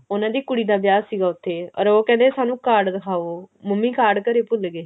ਉਹਨਾ ਦੀ ਕੁੜੀ ਦਾ ਵਿਆਹ ਸੀਗਾ ਉੱਥੇ ਅਰ ਉਹ ਕਹਿੰਦੇ ਸਾਨੂੰ card ਦਿਖਾਓ ਮੰਮੀ card ਘਰੇ ਭੁੱਲ ਗਏ